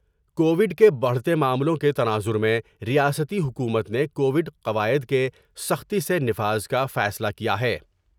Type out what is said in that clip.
Covid کے بڑھتے معاملوں کے تناظر میں ریاستی حکومت نے کوڈ قواعد کے سختی سے نفاذ کا فیصلہ کیا ہے ۔